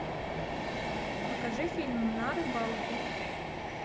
покажи фильм на рыбалку